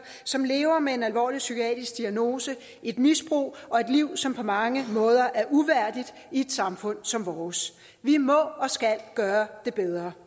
som lever med en alvorlig psykiatrisk diagnose et misbrug og et liv som på mange måder er uværdigt i et samfund som vores vi må og skal gøre det bedre